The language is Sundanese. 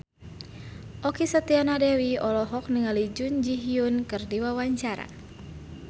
Okky Setiana Dewi olohok ningali Jun Ji Hyun keur diwawancara